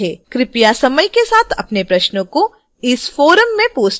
कृपया समय के साथ अपने प्रश्नों को इस forum में post करें